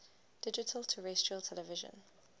digital terrestrial television